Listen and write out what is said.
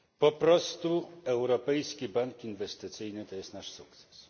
Po prostu Europejski Bank Inwestycyjny to jest nasz sukces.